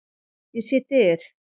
Ég sé dyr.